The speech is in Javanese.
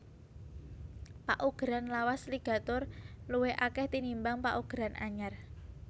Paugeran lawas ligaturé luwih akèh tinimbang paugeran anyar